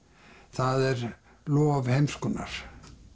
það er lof heimskunnar